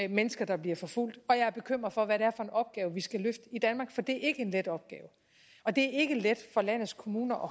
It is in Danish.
de mennesker der bliver forfulgt og jeg er bekymret for hvad det er for en opgave vi skal løfte i danmark for det er ikke en let opgave og det er ikke let for landets kommuner